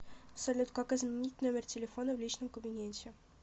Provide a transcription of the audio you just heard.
салют как изменить номер телефона в личном кабинете